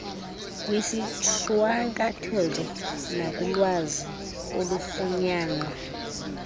kwisishwankathelo nakulwazi olufunyanwa